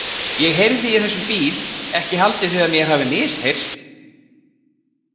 Ég heyrði í þessum bíl, ekki haldið þið að mér hafi misheyrst?